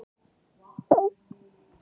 Öllum verbúðum fylgdi smiðjukofi.